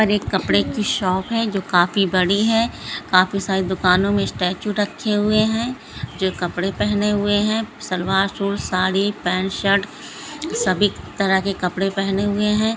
यहा पर एक कपड़े की शॉप है जो काफ़ी बड़ी है काफ़ी सारी दुकानो में स्टैचू रखे हुए हैं जो कपड़े पहने हुए हैं salwar suit sari pant shirt सभी तरह के कपड़े पहने हुए हैं।